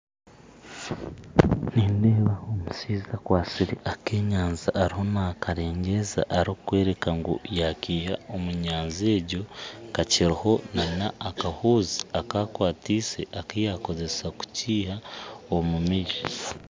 Nindeeba omushaija akwatsire akenyanja ariho nakaregyeza arikworeka ngu yakiha omunyanja egyo kakiriho na n'akahuuzi akakwatise akuyakoresa kikiiha omu maizi